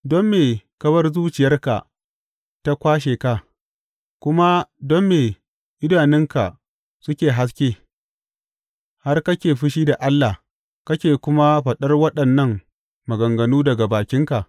Don me ka bar zuciyarka ta kwashe ka, kuma don me idanunka suke haske, har kake fushi da Allah kake kuma faɗar waɗannan maganganu daga bakinka?